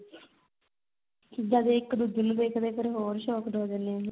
ਜਦ ਇੱਕ ਦੂਜੇ ਨੂੰ ਵੇਖਦੇ ਏ ਫਿਰ ਹੋਰ shocked ਹੋ ਜਾਣੇ ਏ